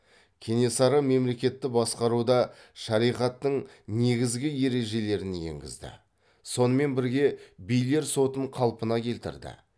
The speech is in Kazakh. кенесары мемлекетті басқаруда шариғаттың негізгі ережелерін енгізді сонымен бірге билер сотын қалпына келтірді